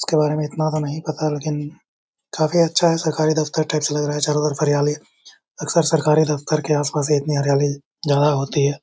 इसके बारे में इतना तो नहीं पता लेकिन काफी अच्छा ये सरकारी दफ्तर टाइप से लग रहा है और चारो और हरियाली है। अक्सर सरकारी दफ्तर कर के आसपास इतनी हरियाली जगह होती है।